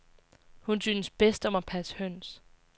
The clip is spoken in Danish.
Hun synes bedst om at passe høns.